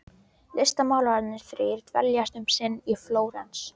Listmálararnir þrír dveljast um sinn í Flórens.